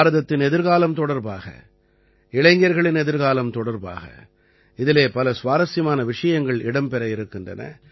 பாரதத்தின் எதிர்காலம் தொடர்பாக இளைஞர்களின் எதிர்காலம் தொடர்பாக இதிலே பல சுவாரசியமான விஷயங்கள் இடம்பெற இருக்கின்றன